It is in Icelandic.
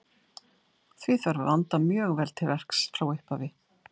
Því þarf að vanda mjög vel til verks frá upphafi.